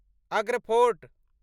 Agra fort